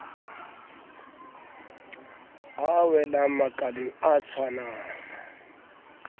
a welang makaleng a tshwanang